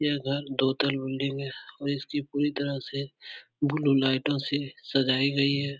यह घर दो तल में और इसकी पूरी तरह से ब्लू लाईटों से सजाई गई है।